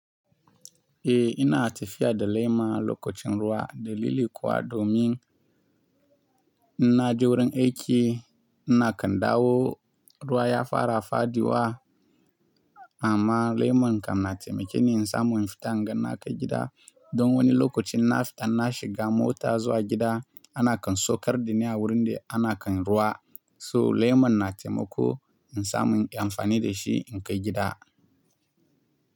Eh ina tafiya da lemon lokacin ruwa da lili kuwa domin ina je wurin aiki ina kan dawo. Ruwa ya fara fadi wa amma lemon kan na taimake ni in samu in fita inga na kai gida. Don wani lokacin na fita na shiga mota zuwa gida ana kan saukar da ni a wurin da ana kan ruwa. So lemon na taimako in samu in yi amfani da shi in kai gida.